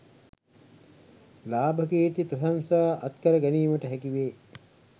ලාභ කීර්ති ප්‍රශංසා අත්කර ගැනීමට හැකි වේ